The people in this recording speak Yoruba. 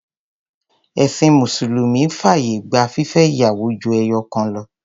Ẹ̀̀sìn mùsùlùmí fàyè gba fífẹ́ ìyàwó ju ẹyọ̀kan lọ.